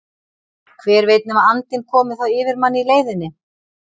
Hver veit nema andinn komi þá yfir mann í leiðinni!